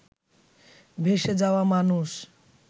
ভেসে যাওয়া মানুষ